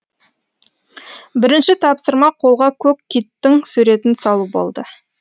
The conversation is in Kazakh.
бірінші тапсырма қолға көк киттің суретін салу болды